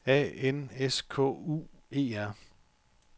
A N S K U E R